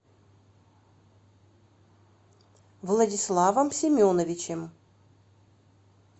владиславом семеновичем